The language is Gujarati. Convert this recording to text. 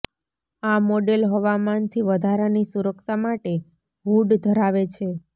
આ મોડેલ હવામાનથી વધારાની સુરક્ષા માટે હૂડ ધરાવે છે